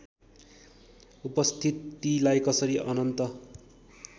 उपस्थितिलाई कसरी अनन्त